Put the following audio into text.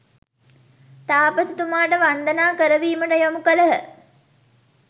තාපසතුමාට වන්දනා කරවීමට යොමු කළහ.